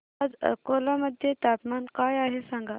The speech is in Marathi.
आज अकोला मध्ये तापमान काय आहे सांगा